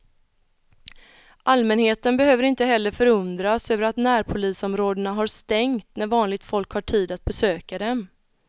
Allmänheten behöver inte heller förundras över att närpolisområdena har stängt när vanligt folk har tid att besöka dem.